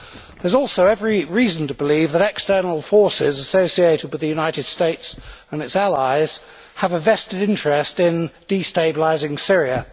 There is also every reason to believe that external forces associated with the United States and its allies have a vested interest in destabilising Syria.